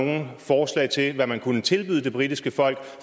nogen forslag til hvad man kunne tilbyde det britiske folk